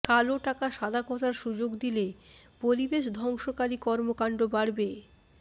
কালোটাকা সাদা করার সুযোগ দিলে পরিবেশ ধ্বংসকারী কর্মকাণ্ড বাড়বে